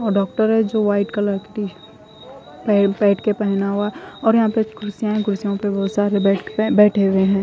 और डोक्टर है जो वाइट कलर की टीसर्ट पेड़ पेड़ के पहना हुआ है और यहा पे कुडसिया है कुड्सियो पे बहोत सारे बेठ बेठे हुए है।